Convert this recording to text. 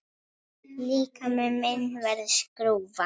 Líkami minn verður skrúfa.